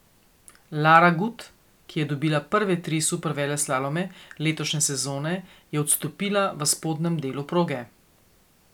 Lara Gut, ki je dobila prve tri superveleslalome letošnje sezone, je odstopila v spodnjem delu proge.